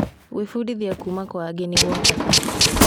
Gwĩbundithia kuuma kwa angĩ nĩ gwa bata.